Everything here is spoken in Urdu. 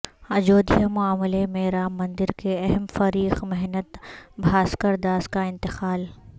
اجودھیا معاملہ میں رام مندر کے اہم فریق مہنت بھاسکر داس کا انتقال